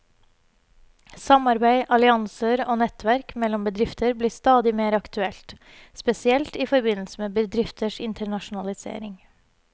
Samarbeid, allianser og nettverk mellom bedrifter blir stadig mer aktuelt, spesielt i forbindelse med bedrifters internasjonalisering.